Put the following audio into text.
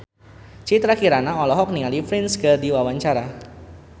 Citra Kirana olohok ningali Prince keur diwawancara